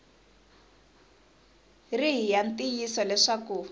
ri hi ya ntiyiso leswaku